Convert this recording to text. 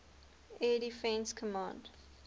air defense command